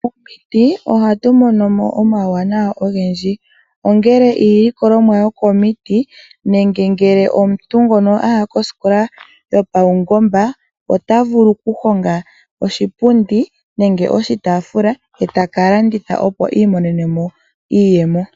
Momiti ohatu mono uuwanawa owundji